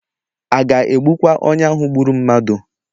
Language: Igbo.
A ga-egbukwa onye ahụ gburu mmadụ?